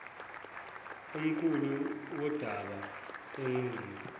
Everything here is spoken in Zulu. umquli wodaba enquma